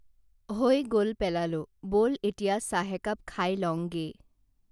হৈ গল পেলালোঁ বল এতিয়া চাহ একাপ খাই লওঁঙগেই